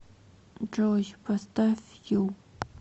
джой поставь ю